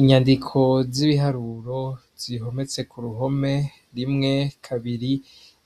Inyandiko z'ibiharuro zihometse ku ruhome rimwe kabiri